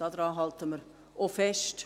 Daran halten wir auch fest.